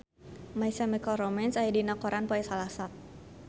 My Chemical Romance aya dina koran poe Salasa